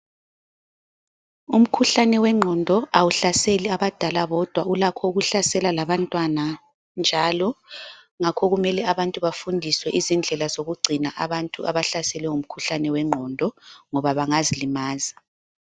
Umkhuhlane wengqondo awuhlaseli abadala bodwa ulakho ukuhlasela labantwana njalo , ngakho kumele abantu bafundiswe izindlela zokugcina abantu abahlaselwe ngumkhuhlane wenqondo ngoba bengazilimaza.